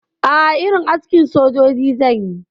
A'a, irin askin sojoji zanyi